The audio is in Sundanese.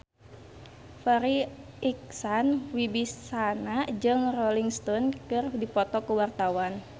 Farri Icksan Wibisana jeung Rolling Stone keur dipoto ku wartawan